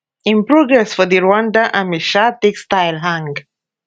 im progress for di rwandan army sha take style hang